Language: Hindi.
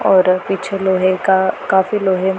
और पीछे लोहे का काफी लोहे--